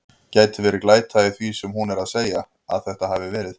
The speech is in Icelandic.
Gæti verið glæta í því sem hún er að segja. að þetta hafi verið.